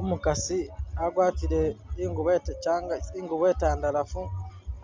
Umukasi agwatile ingubo etenkyanga ingubo etandalafu